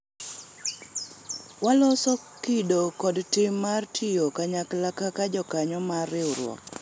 waloso kido kod tim mar tiyo kanyakla kaka jokanyo mar riwruok